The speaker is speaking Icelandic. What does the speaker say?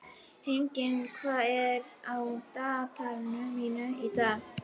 Henning, hvað er á dagatalinu mínu í dag?